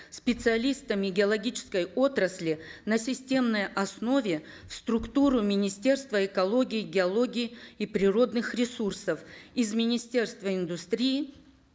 специалистами геологической отрасли на системной основе в структуру министерства экологии геологии и природных ресурсов из министерства индустрии